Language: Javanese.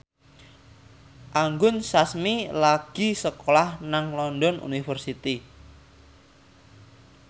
Anggun Sasmi lagi sekolah nang London University